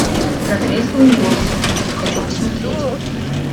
на трезвую голову хочу посмотреть